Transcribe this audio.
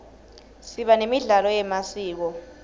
siba nemidlalo yemasiko